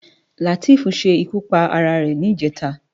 Lateef ṣé ikú párá ré nijètá